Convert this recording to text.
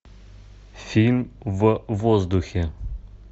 фильм в воздухе